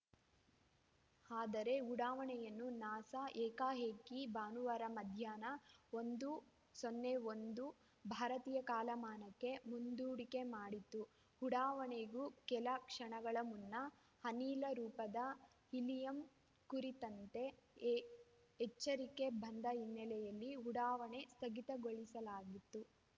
ಆದರೆ ಉಡಾವಣೆಯನ್ನು ನಾಸಾ ಏಕಾಏಕಿ ಭಾನುವಾರ ಮಧ್ಯಾಹ್ನ ಒಂದು ಸೊನ್ನೆ ಒಂದು ಭಾರತೀಯ ಕಾಲಮಾನಕ್ಕೆ ಮುಂದೂಡಿಕೆ ಮಾಡಿತ್ತು ಉಡಾವಣೆಗೂ ಕೆಲ ಕ್ಷಣಗಳ ಮುನ್ನ ಅನಿಲ ರೂಪದ ಹೀಲಿಯಂ ಕುರಿತಂತೆ ಎ ಎಚ್ಚರಿಕೆ ಬಂದ ಹಿನ್ನೆಲೆಯಲ್ಲಿ ಉಡಾವಣೆ ಸ್ಥಗಿತಗೊಳಿಸಲಾಗಿತ್ತು